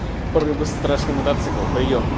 рыбы страшны мотоцикл приём